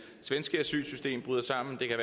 synes ikke det